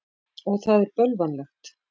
Og það er bölvanlegt.